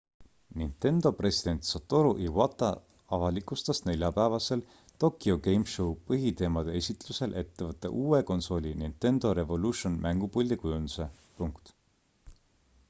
nintendo president satoru iwata avalikustas neljapäevasel tokyo game show põhiteemade esitlusel ettevõtte uue konsooli nintendo revolution mängupuldi kujunduse